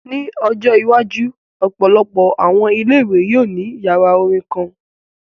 Ni ojo iwaju, ọpọlọpọ awọn ile-iwe yoo ni yara orin kan.